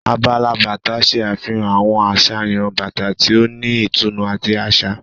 Abala bàtà ṣe àfihàn àwọn àsàyàn bàtà tí o ni ìtùnú àti aṣa.